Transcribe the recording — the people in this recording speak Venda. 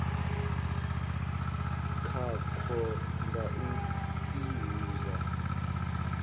khakwo nga u i hudza